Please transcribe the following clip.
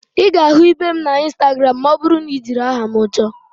Ị ga-ahụ ibe m na instagramụ ma ọ bụrụ na ị jiri aha m chọọ